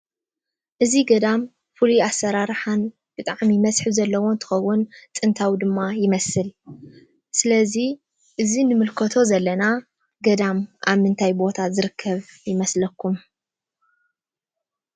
እዚ ገዳም ፍሉይ ኣሰራርሓን ብጣዕሚ መስሕብ ዘለዎ እንትከውን ጥንታዊ ድማ ይመስል። ስለዚ እዚ ንምልከቶ ዘለና ገዳም ኣብ ምንታይ ቦታ ዝርከብ ይመስለኩም ?